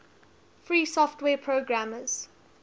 free software programmers